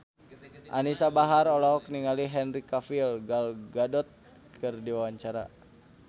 Anisa Bahar olohok ningali Henry Cavill Gal Gadot keur diwawancara